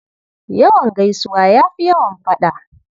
Yawan gaisuwa ya fi yawan faɗa.